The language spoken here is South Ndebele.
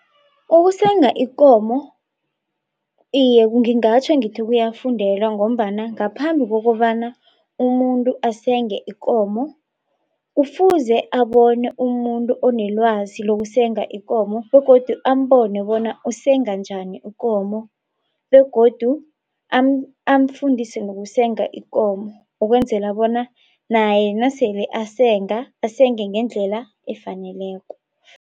Ukusenga ikomo iye ngingatjho ngithi kuyafundelwa ngombana ngaphambi kokobana umuntu asenge ikomo kufuze abone umuntu onelwazi lokusenga ikomo begodu ambone bona usenga njani ukomo begodu amfundise nokusenga ikomo ukwenzela bona naye nasele asenga asenge ngendlela efaneleko.